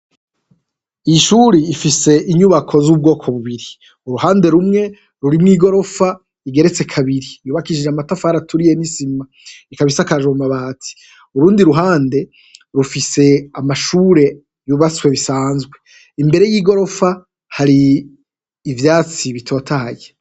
Ishuri ifise inyubako z'ubwoko bubiri, uruhande rumwe rurimwo igorofa igeretse kabiri yubakishije amatafari aturiye n'isima, ikaba isakajwe amabati, urundi ruhande rufise amashure yubatswe bisanzwe, imbere y'igorofa hari ivyatsi bitotahaye.